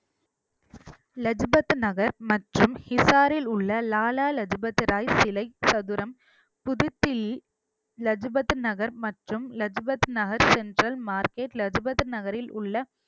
லஜு பத் நகர் மற்றும் ஹிசாரில் உள்ள லாலா லஜ் பத் ராய் சிலை சதுரம் புதுச்சேரி லஜு பத் நகர் மற்றும் லஜு பத் நகர் சென்டரில் மார்க்கெட் லஜு பத் நகரில் உள்ள